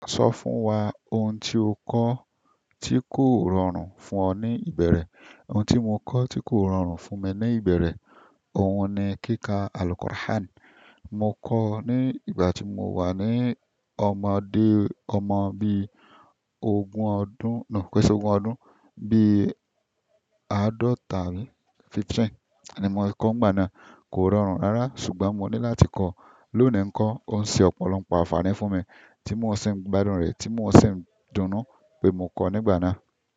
Sọ fún wa ohun tí o kọ́ tí kò rọrùn fún ọ ní ìbẹ̀rẹ̀. Ohun tí mo kọ́ tí kò rọrùn fún mi ní ìbẹ̀rẹ̀, ohun ni kíkà Al-Qur'an. Mo kọ́ nígbà ti mo wà ní, ọmọdé, ọmọ bíi ogun ọdún, no, kiise ogún ọdún, bíi àádọ́ta àbí, fifteen, ni mo kọ́ nígbà náà. Kò rọrùn rárá ṣùgbọ́n mo ní láti kọ́. Lónìí ń kọ́, ó ń ṣe ọ̀pọ̀lọpọ̀ àfààní fún mi tí mo ṣẹ̀ n gbádùn rẹ, tí mo ṣẹ̀ ń dunnú pé mo kọ́ nígbà náà.